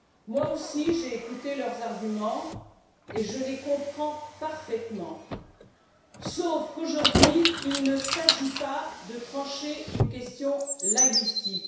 Moi aussi, j'ai écouté leurs arguments et je les comprends parfaitement, sauf qu'aujourd'hui, il ne s'agit pas de trancher une question linguistique.